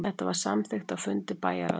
Þetta var samþykkt á fundi bæjarráðsins